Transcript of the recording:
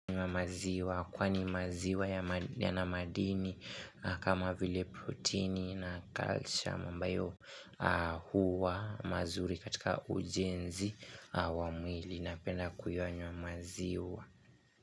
Kwani maziwa yana madini kama vile protini na kalsiamu ambayo huwa mazuri katika ujenzi wa mwili napenda kuyanywa maziwa.